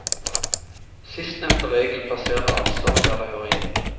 Sistnevnte regel plasserer ansvaret der det hører hjemme.